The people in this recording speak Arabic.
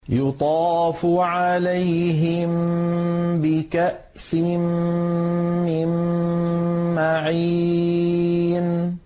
يُطَافُ عَلَيْهِم بِكَأْسٍ مِّن مَّعِينٍ